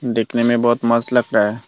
देखने में बहोत मस्त लग रहा है।